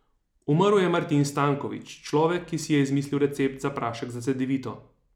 Umrl je Martin Stanković, človek, ki si je izmislil recept za prašek za cedevito.